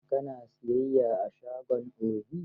Ka na siyayya a shagon Obi?